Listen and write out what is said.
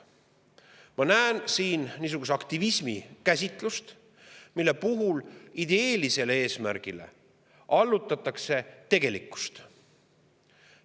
Ma näen siin niisuguse aktivismi käsitlust, mille puhul tegelikkus allutatakse ideelisele eesmärgile.